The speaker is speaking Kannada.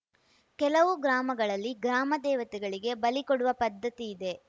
ಕೆಲವು ಗ್ರಾಮಗಳಲ್ಲಿ ಗ್ರಾಮ ದೇವತೆಗಳಿಗೆ ಬಲಿಕೊಡುವ ಪದ್ಧತಿ ಇದೆ